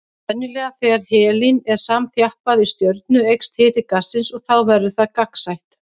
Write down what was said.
Venjulega þegar helín er samþjappað í stjörnu eykst hiti gassins og þá verður það gagnsætt.